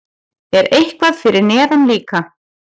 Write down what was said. Er eitthvað fyrir neðan líka?